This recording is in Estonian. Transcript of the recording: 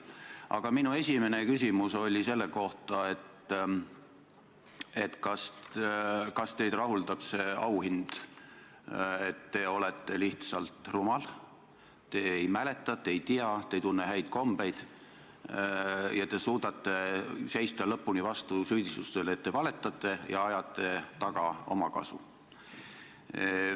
Aga minu esimene küsimus oli selle kohta, et kas teid rahuldab see auhind, et te olete lihtsalt rumal, te ei mäleta, te ei tea, te ei tunne häid kombeid ja te suudate seista lõpuni vastu süüdistustele, et te valetate ja ajate taga omakasu.